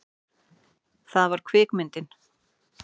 Það var kvikmyndin